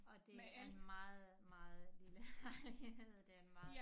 Og det er meget meget lille lejlighed det meget